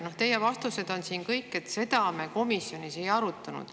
No teie vastused on siin kõik sellised, et "seda me komisjonis ei arutanud".